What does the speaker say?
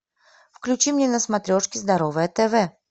включи мне на смотрешке здоровое тв